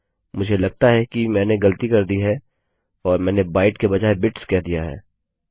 मुझे लगता है कि मैंने गलती कर दी है और मैंने बाइट के बजाय बिट्स कह दिया है